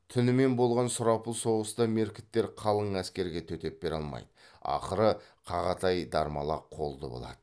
түнімен болған сұрапыл соғыста меркіттер қалың әскерге төтеп бере алмайды ақыры қағатай дармала қолды болады